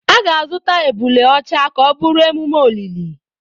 A ga-azụta ebule ọcha ka ọ bụrụ emume olili.